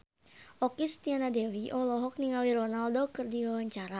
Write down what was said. Okky Setiana Dewi olohok ningali Ronaldo keur diwawancara